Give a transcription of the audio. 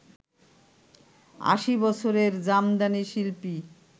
আশি বছরের জামদানি শিল্পী